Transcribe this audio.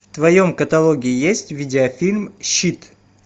в твоем каталоге есть видеофильм щит